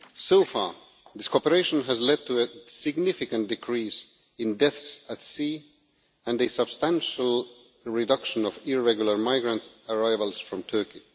So far, this cooperation has led to a significant decrease in deaths at sea and a substantial reduction of irregular migrant arrivals from Turkey.